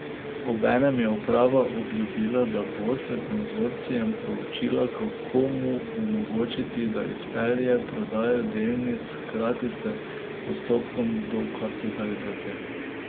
Obenem je uprava obljubila, da bo s konzorcijem proučila, kako mu omogočiti, da izpelje prodajo delnic hkrati s postopkom dokapitalizacije.